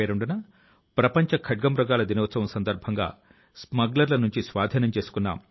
ఎందుకో తెలుసా తద్వారా అరుణాచల్ ప్రదేశ్ లో విచక్షణరహితం గా జరిగే పక్షుల వేట ను అరికట్టవచ్చు